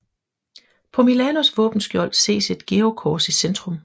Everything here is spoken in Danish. På Milanos våbenskjold ses et georgskors i centrum